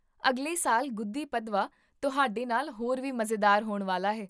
ਅਗਲੇ ਸਾਲ ਗੁੱਧੀ ਪਦਵਾ ਤੁਹਾਡੇ ਨਾਲ ਹੋਰ ਵੀ ਮਜ਼ੇਦਾਰ ਹੋਣ ਵਾਲਾ ਹੈ